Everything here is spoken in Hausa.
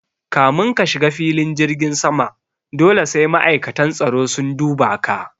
Kamin ka shiga filin jirgin sama dole sai ma'aikatan tsaro sun duba ka